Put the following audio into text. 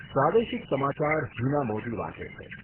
પ્રાદેશિક સમાચાર હિના મોદી વાંચે છે.